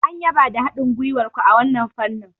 An yaba da irin haɗin gwiwar ku a wannan fannin.